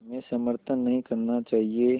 में समर्थन नहीं करना चाहिए